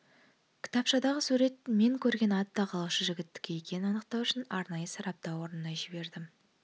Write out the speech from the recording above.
кітапшадағы сурет мен көрген ат тағлаушы жігіттікі екенін анықтау үшін арнайы сараптау орнына жібердім